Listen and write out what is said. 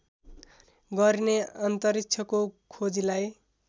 गरिने अन्तरिक्षको खोजीलाई